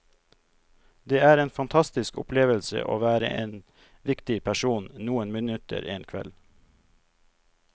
Det er en fantastisk opplevelse å være en viktig person noen minutter en kveld.